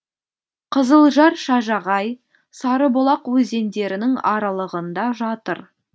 қызылжар шажағай сарыбұлақ өзендерінің аралығында жатыр